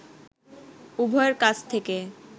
উভয়ের কাছ থেকে